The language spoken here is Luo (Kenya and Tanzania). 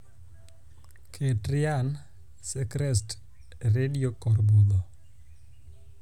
ket ryan seacrest e redio kor budho